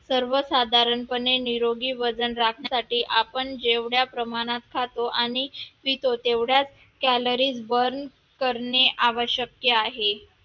सर्वसाधारणपणे निरोगी वजन राखण्यासाठी आपण जेवढ्या प्रमाणात खातो आणि पितो तेवढ्याच calories burn करणे आवश्यक आहे